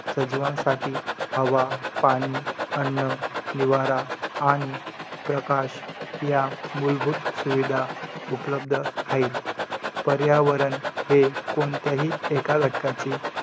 सजीवांसाठी हवा, पाणी, अन्न, निवारा आणि प्रकाश या मूलभूत सुविधा उपलब्ध हायेत. पर्यावरण हे कोणत्याही एका घटकाचे